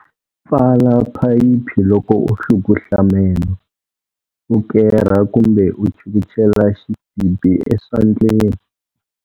Pfala phayiphi loko u hlukuhla meno, u kerha kumbe u chukuchela xisibi eswandleni.